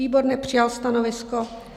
Výbor nepřijal stanovisko.